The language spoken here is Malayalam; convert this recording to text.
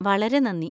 വളരെ നന്ദി.